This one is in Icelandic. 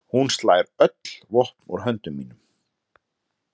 Hún slær öll vopn úr höndum mínum.